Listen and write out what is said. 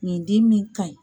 Ɲindin min ka ɲi.